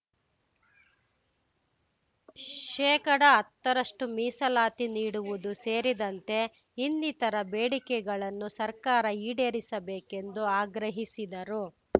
ಶೇಕಡಾ ಹತ್ತ ರಷ್ಟು ಮೀಸಲಾತಿ ನೀಡುವುದು ಸೇರಿದಂತೆ ಇನ್ನಿತರ ಬೇಡಿಕೆಗಳನ್ನು ಸರ್ಕಾರ ಈಡೇರಿಸಬೇಕೆಂದು ಆಗ್ರಹಿಸಿದರು